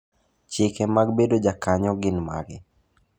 Chike mag bedo ja kanyo gin mage?